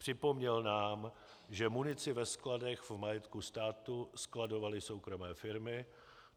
Připomněl nám, že munici ve skladech v majetku státu skladovaly soukromé firmy.